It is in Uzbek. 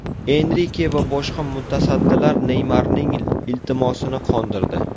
Enrike va boshqa mutasaddilar Neymarning iltimosini qondirdi.